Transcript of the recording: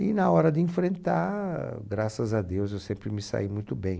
E na hora de enfrentar, graças a Deus, eu sempre me saí muito bem.